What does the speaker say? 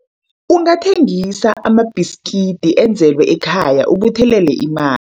Ungathengisa amabhiskidi enzelwe ekhaya ukubuthelela ima